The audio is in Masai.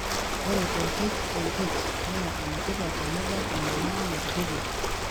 ore te HLH, naa enetipat tenibak enyamali natupukuo.